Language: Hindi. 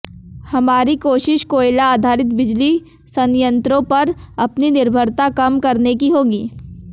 हमारी कोशिश कोयला आधारित बिजली संयंत्रों पर अपनी निर्भरता कम करने की होगी